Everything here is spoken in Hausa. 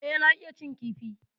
E, na iya cin kifi.